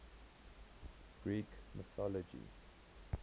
greek mythology